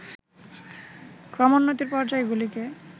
ক্রমোন্নতির পর্যায়গুলিকে